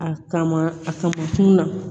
A kama a kamankun na